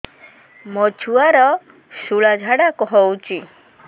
ମୋ ଛୁଆର ସୁଳା ଝାଡ଼ା ହଉଚି